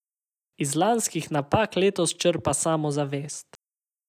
Iz lanskih napak letos črpa samozavest.